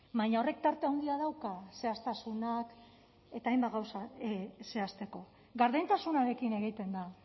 baina horrek tarte handia dauka zehaztasunak eta hainbat gauza zehazteko gardentasunarekin egiten da